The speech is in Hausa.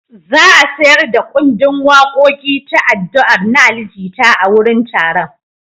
Za a sayar da ƙundin waƙoƙi ta “Addu’ar” na Ali Jita a wurin taron.